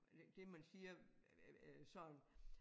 Eller det man siger sådan